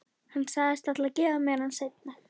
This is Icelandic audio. Hann sagðist ætla að gefa mér hann seinna.